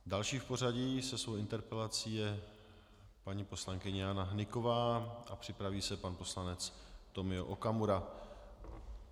Další v pořadí se svou interpelací je paní poslankyně Jana Hnyková a připraví se pan poslanec Tomio Okamura.